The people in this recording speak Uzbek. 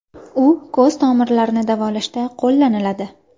U ko‘z tomirlarini davolashda qo‘llaniladi.